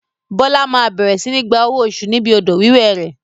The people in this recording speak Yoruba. Bola máa bẹ̀rẹ̀ sini gba owó oṣù níbi odò wíwẹ̀ rẹ.